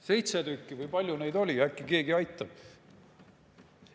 Seitse tükki või kui palju neid oli, äkki keegi aitab?